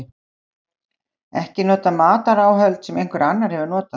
ekki nota mataráhöld sem einhver annar hefur einnig notað